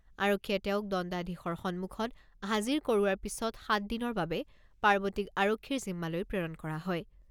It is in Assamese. আৰক্ষীয়ে তেওঁক দণ্ডাধীশৰ সন্মুখত হাজিৰ কৰোৱাৰ পিছত সাতদিনৰ বাবে পাৰ্বতীক আৰক্ষীৰ জিম্মালৈ প্ৰেৰণ কৰা হয়।